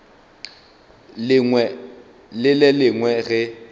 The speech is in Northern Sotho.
lengwe le le lengwe ge